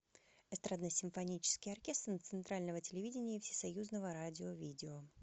эстрадно симфонический оркестр центрального телевидения и всесоюзного радио видео